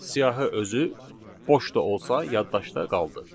Siyahı özü boş da olsa yaddaşda qaldı.